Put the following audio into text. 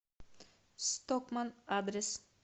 стокманн адрес